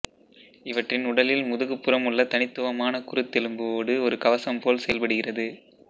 இவற்றின் உடலில் முதுகுப்புறம் உள்ள தனித்துவமான குருத்தெலும்பு ஓடு ஒரு கவசம் போல் செயல்படுகிறது